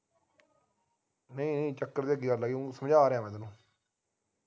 ਨਹੀਂ ਨਹੀਂ ਚੱਕਰ ਦੀ ਕਿ ਗੱਲ ਹੈ ਉਞ ਸਮਝਾ ਰਿਹਾ ਹੈ ਮੈਂ ਤੈਨੂੰ